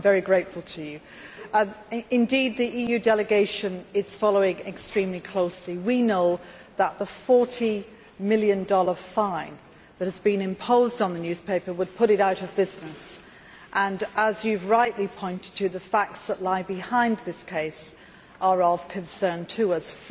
I am very grateful to him. Indeed the EU delegation is following extremely closely. We know that the USD 40 million fine that has been imposed on the newspaper would put it out of business. As you have rightly pointed out, the facts that lie behind this case are of concern to us.